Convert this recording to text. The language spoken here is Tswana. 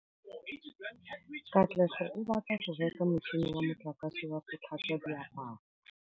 Katlego o batla go reka motšhine wa motlakase wa go tlhatswa diaparo.